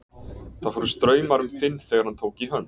Það fóru straumar um Finn þegar hann tók í hönd